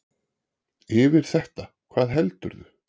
Yfir þetta, hvað heldurðu!